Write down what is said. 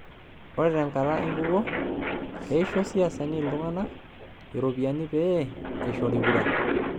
Ore tenkata enkukuo, teisho siasani iltung'ana ropiyiani pee eishori kura.